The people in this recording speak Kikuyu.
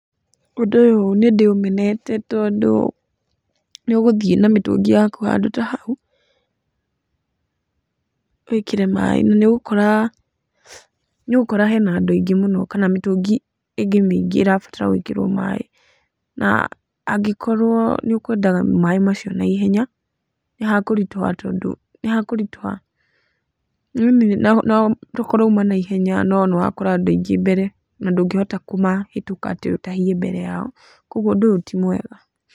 Ũndũ ũyũ nĩ ndĩũmenete tondũ nĩ ũgũthiĩ na mĩtũngi yaku handũ ta hau, wĩkĩre maĩ. Nĩ ũgũkora nĩ ũgũkora nĩ ũgũkora hena andũ aingĩ mũno kana mĩtũngi ĩngĩ mĩingĩ ĩrabatara gwĩkĩrwo maĩ. Na angĩkorwo nĩ ũkwendaga maĩ macio naihenya, nĩ hakũritũha tondũ, nĩ hakũritũha ĩni na tokorwo uuma na ihenya no nĩ wakora andũ aingĩ mbere, na ndũngĩhota kũmahĩtũka atĩ ũtahie mbere yao. Kũguo ũndũ ũyũ ti mwega.